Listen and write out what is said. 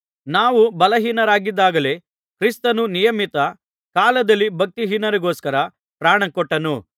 ನಾವು ಬಲಹೀನರಾಗಿದ್ದಾಗಲೇ ಕ್ರಿಸ್ತನು ನಿಯಮಿತ ಕಾಲದಲ್ಲಿ ಭಕ್ತಿಹೀನರಿಗೋಸ್ಕರ ಪ್ರಾಣಕೊಟ್ಟನು